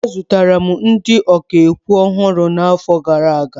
Azụtara m ndị ọkà okwu ọhụrụ n'afọ gara aga.